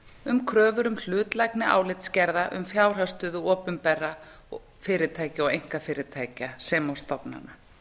um kröfur um hlutlægni álitsgerða um fjárhagsstöðu opinberra fyrirtækja og einkafyrirtækja sem og stofnana